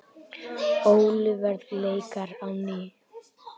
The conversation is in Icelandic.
Olíuverð lækkar á ný